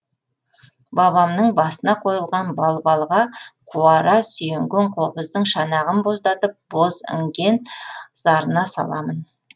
бабамның басына қойылған балбалға қуара сүйенген қобыздың шанағын боздатып боз іңген зарына саламын